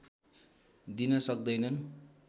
दिन सक्दैनन्